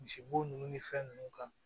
Misibo ninnu ni fɛn ninnu kan